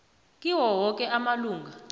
kiwo woke amalunga